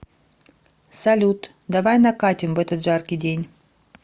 салют давай накатим в этот жаркий день